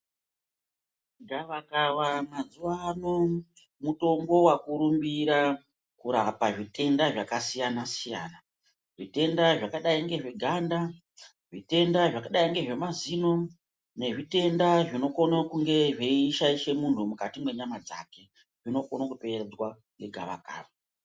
Gava kava mazuwa ano mutombo wakurumbira kurapa zvitenda zvakasiyana siyana zvitenda zvakdai ngezveganda zvitenda zvakadai ngezvemazino nezvitenda zvinokone kunge zveishaishe munhu mukati mwenyama dzake zvinokone kupedzwa ngegava kava.